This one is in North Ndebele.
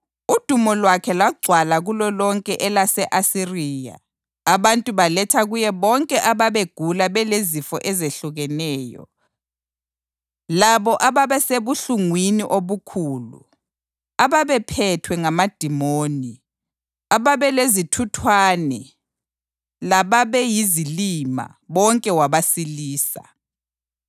Udumo lwakhe lwagcwala kulolonke elase-Asiriya, abantu baletha kuye bonke ababegula belezifo ezehlukeneyo, labo ababesebuhlungwini obukhulu, ababephethwe ngamadimoni, ababelezithuthwane lababeyizilima, bonke wabasilisa.